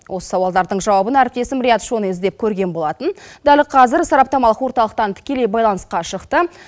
осы сауалдардың жауабын әріптесім риат шони іздеп көрген болатын дәл қазір сараптамалық орталықтан тікелей байланыстқа шықты